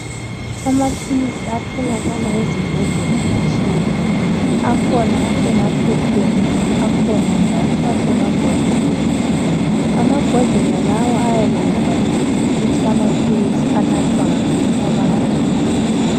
Amaphilsi atholakala ezibhedlela atshiyene. Akhona asemaphepheni akhona njalo asemabhodleleni. Amabhodlela lawa ayabe ebhaliwe ukuthi amaphilisi anathwa ngabantu abanganani.